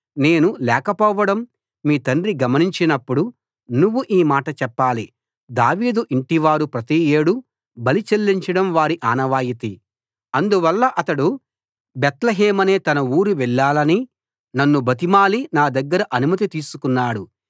నేను లేకపోవడం మీ తండ్రి గమనించినప్పుడు నువ్వు ఈ మాట చెప్పాలి దావీదు ఇంటివారు ప్రతి ఏడూ బలి చెల్లించడం వారి ఆనవాయితీ అందువల్ల అతడు బేత్లెహేమనే తన ఊరు వెళ్ళాలని నన్ను బతిమాలి నా దగ్గర అనుమతి తీసుకున్నాడు